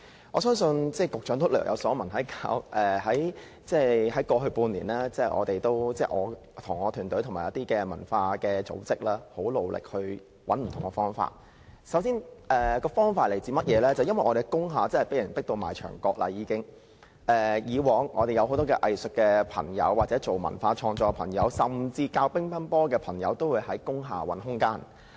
我相信局長也略有所聞，過去半年，我和我的團隊與一些文化組織很努力尋找不同的解決方法，因為我們在工廈真的已經被迫到牆角，以往我們有很多藝術界或從事文化創作的朋友，甚至教乒乓球的朋友都會在工廈找空間。